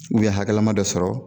U ye hakɛlama dɔ sɔrɔ